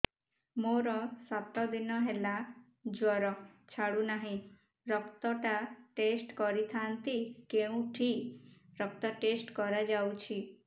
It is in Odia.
ମୋରୋ ସାତ ଦିନ ହେଲା ଜ୍ଵର ଛାଡୁନାହିଁ ରକ୍ତ ଟା ଟେଷ୍ଟ କରିଥାନ୍ତି କେଉଁଠି ରକ୍ତ ଟେଷ୍ଟ କରା ଯାଉଛି